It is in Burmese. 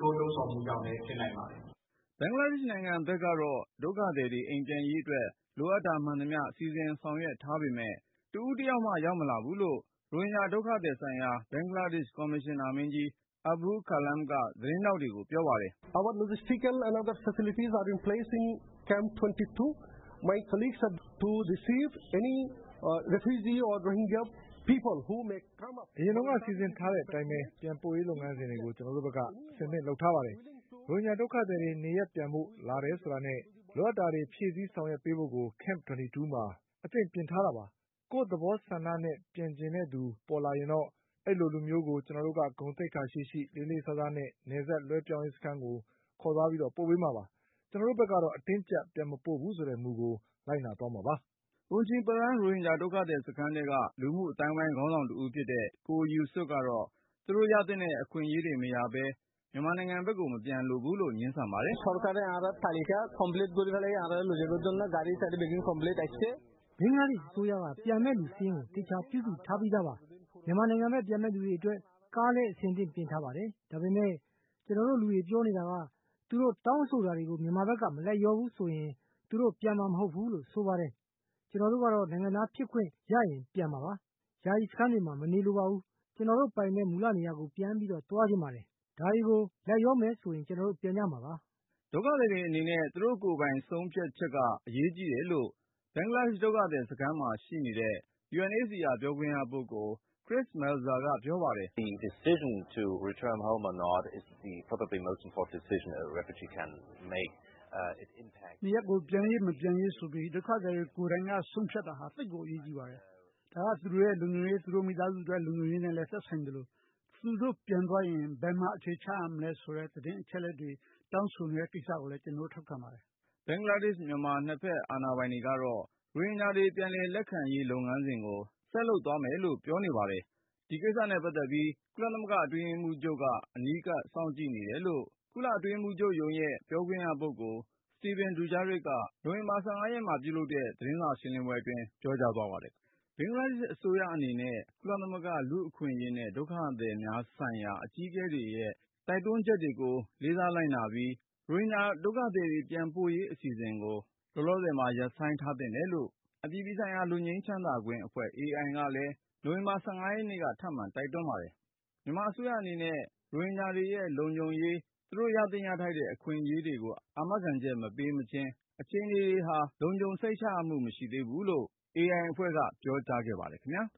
လှုံ့ဆော်မှုကြောင့်လည်း ဖြစ်နိုင်ပါတယ်။” ဘင်္ဂလားဒေ့ရှ်နိုင်ငံဘက်ကတော့ ဒုက္ခသည်တွေအိမ်ပြန်ရေးအတွက် လိုအပ်တာမှန်သမျှ စီစဉ်ဆောင်ရွက် ထားပေမဲ့ တဦးတယောက်မှ ရောက်မလာဘူးလို့ ရိုဟင်ဂျာဒုက္ခသည်ဆိုင်ရာ ဘင်္ဂလားဒေ့ရှ် ကော်မရှင်နာ မင်းကြီး Abul Kalam က သတင်းထောက်တွေကို ပြောပါတယ်။ “အရင်က စီစဉ်ထားတဲ့အတိုင်းပဲ ပြန်ပို့ရေးလုပ်ငန်းစဉ်ကို ကျနော်တို့ဘက်က အဆင်သင့် လုပ်ထား ပါတယ်။ ရိုဟင်ဂျာဒုက္ခသည်တွေ နေရပ် ပြန်ဖို့ လာတယ်ဆိုတာနဲ့ လိုအပ်တာတွေ ဖြည့်ဆည်း ဆောင်ရွက်ပေးဖို့ကို Camp ၂၂ မှာ အသင့်ပြင်ထားတာပါ။ ကိုယ့်သဘောဆန္ဒနဲ့ ပြန်ချင်တဲ့သူ ပေါ်လာရင်တော့ အဲလိုလူမျိုးကို ကျနော်တို့က ဂုဏ်သိက္ခာရှိရှိ၊ လေးလေးစားစားနဲ့ နယ်စပ် လွှဲပြောင်းရေးစခန်းကို ခေါ်သွားပြီး ပို့ပေးမှာပါ။ ကျနော်တို့ဘက် ကတော့ အတင်းအကြပ် ပြန်မပို့ဘူးဆိုတဲ့ မူကို လိုက်နာသွားမှာပါ။” Unchiprang ရိုဟင်ဂျာဒုက္ခသည်စခန်းထဲက လူမှုအသိုင်းအဝိုင်းခေါင်းဆောင်တဦးဖြစ်တဲ့ ကိုယူဆွတ်ကတော့ -သူ့တို့ရသင့်တဲ့ အခွင့်အရေး မရဘဲနဲ့တော့ မြန်မာဘက်ကို မပြန်လိုဘူးလို့ ငြင်းဆန်ပါတယ်။ “ဘင်္ဂလားအစိုးရက ပြန်မယ့်လူစာရင်းကို အသေချာ ပြုစုထားပြီးသားပါ။ မြန်မာနိုင်ငံဘက် ပြန်မယ့် လူတွေ အတွက်ကားတွေလည်း အဆင်သင့် ပြင်ထားပါတယ်။ ဒါပေမယ့် ကျနော်တို့လူတွေ ပြောနေတာက သူတို့ တောင်းဆိုတာတွေကို မြန်မာဘက်က မလိုက်လျောဘူးဆိုရင် သူတို့ ပြန်မှာ မဟုတ်ဘူးလို့ ဆိုပါတယ်။ ကျနော်တို့ကတော့ နိုင်ငံသားဖြစ်ခွင့်ရရင် ပြန်မှာပါ။ ယာယီ စခန်းတွေမှာ မနေလိုပါဘူး။ ကျနော်တို့ ပိုင်တဲ့ မူလနေရာကို တန်းပြီးသွားချင်ပါတယ်။ ဒါတွေကို လိုက်လျောမယ် ဆိုရင် ကျနော်တို့ ပြန်ကြမှာပါ။” ဒုက္ခသည်တွေအနေနဲ့ သူတို့ကိုယ်ပိုင်ဆုံးဖြတ်က အရေးကြီးတယ်လို့ ဘင်္ဂလားဒေ့ရှ်ဒုက္ခသည် စခန်းမှာ ရှိနေတဲ့ UNHCR ပြောခွင့်ရပုဂ္ဂိုလ် Mr. Chris Melzer ကပြောပါတယ်။ “နေရပ်ကို ပြန်ရေး/မပြန်ရေးဆိုပြီး ဒုက္ခသည်ကိုယ်တိုင်က ဆုံးဖြတ်တာဟာ သိပ်ကိုအရေးကြီး ပါတယ်။ ဒါက သူ့ရဲ့လုံခြုံရေး၊ သူမိသားစု အတွက် လုံခြုံရေးနဲ့လည်း သက်ဆိုင်သလို သူတို့ ပြန်သွားရင် ဘယ်မှာအခြေချ ရမလဲဆိုတဲ့ သတင်းအချက်အလက်တွေ တောင်းဆိုနေတဲ့ ကိစ္စကိုလည်း ကျနော်တို့ထောက်ခံပါတယ်။” ဘင်္ဂလားဒေ့ရှ်-မြန်မာ နှစ်ဘက် အာဏာပိုင်တွေကတော့ ရိုဟင်ဂျာတွေ ပြန်လည်လက်ခံရေး လုပ်ငန်းစဉ်ကို ဆက်လုပ်သွားမယ်လို့ ပြောနေ ပါတယ်။ ဒီကိစ္စနဲ့ပတ်သက်ပြီး ကုလသမဂ္ဂ အတွင်းရေးမှူးချုပ်က နီးနီးကပ်ကပ် စောင့်ကြည့်နေတယ်လို့ ကုလအတွင်းရေးမှူးချုပ်ရဲ့ ပြောခွင့်ရ Stéphane Dujarric က နိုဝင်ဘာ ၁၅ မှာ ပြုလုပ်တဲ့ သတင်းစာရှင်းလင်းပွဲအတွင်း ပြောကြား သွားပါတယ်။ ဘင်္ဂလားဒေ့ရှိ အစိုးရအနေနဲ့ ကုလသမဂ္ဂလူ့အခွင့်အရေးနဲ့ ဒုက္ခသည်များဆိုင်ရာ အကြီးအကဲတွေရဲ့ တိုက်တွန်းချက်တွေကို လေးစားလိုက်နာပြီး ရိုဟင်ဂျာဒုက္ခသည်တွေ ပြန်ပို့ရေးအစီအစဉ်ကို လောလောဆယ်မှာ ရပ်ဆိုင်းထားသင့်တယ်လို့ အပြည်ပြည်ဆိုင်ရာ လွတ်ငြိမ်းချမ်းသာခွင့်အဖွဲ့ AI ကလည်း နိုဝင်ဘာ ၁၅ ရက်နေ့က ထပ်မံတိုက်တွန်းပါတယ်။ မြန်မာအစိုးရအနေနဲ့ ရိုဟင်ဂျာတွေရဲ့ လုံခြုံရေး သူတို့ ရသင့်ရထိုက်တဲ့အခွင့်အရေးတွေကို အာမခံချက် မပေးမချင်း အခြေအနေတွေဟာ လုံခြုံစိတ်ချရမှု မရှိသေးဘူးလို့ IA အဖွဲ့က ပြောကြားခဲ့ပါတယ်ခင်ဗျာ။